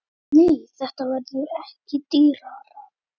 Nei, þetta verður ekki dýrara.